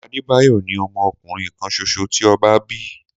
Adébáyọ̀ ni ọmọ ọkùnrin kan ṣoṣo ti ọba